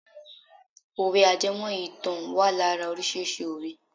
Òwe ajẹmọ́ ìtàn wà lára órísìíríìsí òwe.